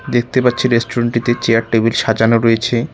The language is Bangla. দেখতে পাচ্ছি রেস্টুরেন্ট -টিতে চেয়ার টেবিল সাজানো রয়েছে।